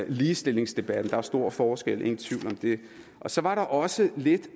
ligestillingsdebatten der er stor forskel ingen tvivl om det så var der også lidt